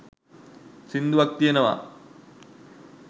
සින්දුවක් තියෙනවා